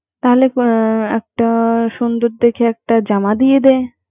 তাইলে একটা সুন্দর দেখে একটা জামা দিয়ে দে